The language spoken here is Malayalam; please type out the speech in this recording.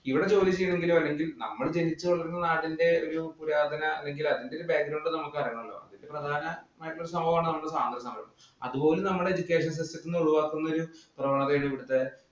ഇവിടെ ജോലി ചെയ്യണമെങ്കില്‍ നമ്മള്‍ ജനിച്ചു വളര്‍ന്ന നാടിന്‍റെ ഒരു പുരാതന അല്ലെങ്കില് അതിന്‍റെ ഒരു background നമുക്കറിയണമല്ലോ. നമ്മുടെ പ്രധാന സംഭവമാണല്ലോ നമ്മുടെ നാട് എന്ന് പറയുന്നത്. അതുപോലും നമ്മുടെ education system ത്തില്‍ നിന്നും ഒഴിവാക്കുന്ന ഒരു പ്രവണതയാണ് ഇവിടത്തെ